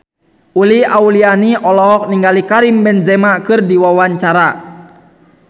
Uli Auliani olohok ningali Karim Benzema keur diwawancara